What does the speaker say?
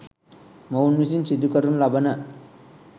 මොවුන් විසින් සිදු කරනු ලබන